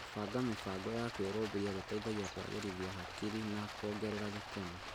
Gũbanga mĩbango ya Kwĩrũmbũiya gũteithagia kũagĩrithia hakiri na kuongerera gĩkeno.